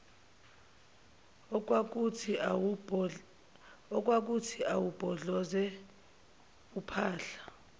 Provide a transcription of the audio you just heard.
okwakuthi awubhodloze uphahla